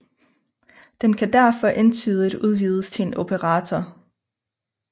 Den kan derfor entydigt udvides til en operator